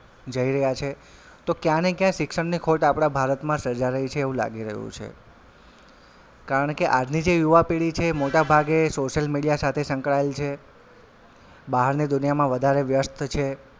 જઈ રહ્યાં છે તો કયાંય ને ક્યાય શિક્ષણની ખોટ આપડા ભારતમાં સર્જાઈ રહી છે એવું લાગી રહ્યું છે કારણ કે આજની જે યુવા પેઢી છે એ મોટા ભાગે social media સાથે સંકળાયેલ છે બહારની દુનિયામાં વધારે વ્યસ્ત છે.